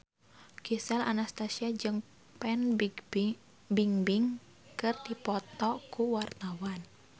Gisel Anastasia jeung Fan Bingbing keur dipoto ku wartawan